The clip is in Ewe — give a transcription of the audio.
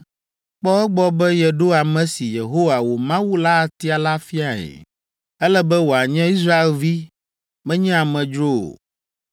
Kpɔ egbɔ be yeɖo ame si, Yehowa, wò Mawu la atia la fiae. Ele be wòanye Israelvi, menye amedzro o.